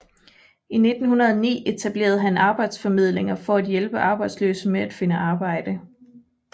I 1909 etablerede han arbejdsformidlinger for at hjælpe arbejdsløse med at finde arbejde